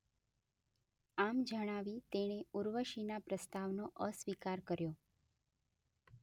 આમ જણાવી તેણે ઉર્વશીના પ્રસ્તાવનો અસ્વીકાર કર્યો.